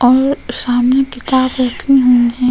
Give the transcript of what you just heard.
और सामने किताब रखी हुई हैं।